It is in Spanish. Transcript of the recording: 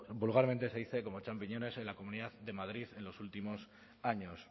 vulgarmente se dice como champiñones en la comunidad de madrid en los últimos años